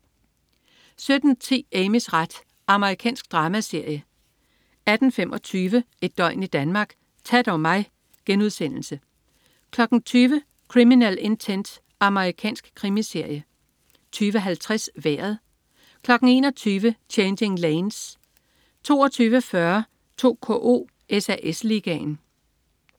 17.10 Amys ret. Amerikansk dramaserie 18.25 Et døgn i Danmark: Ta' dog mig!* 20.00 Criminal Intent. Amerikansk krimiserie 20.50 Vejret 21.00 Changing Lanes 22.40 2KO: SAS Ligaen